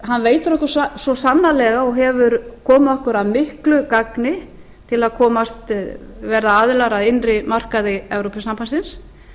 hann veitir okkur svo sannarlega og hefur komið okkur að miklu gagni til að verða aðilar að innri markaði evrópusambandsins